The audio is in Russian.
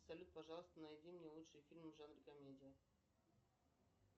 салют пожалуйста найди мне лучшие фильмы в жанре комедия